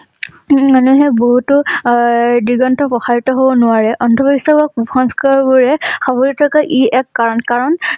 মানুহে বহুতো এই দিগন্ত হব নোৱাৰে। অন্ধ বিশ্বাস বা কুসংস্কাৰ বোৰে ই এক কাৰণ। কাৰণ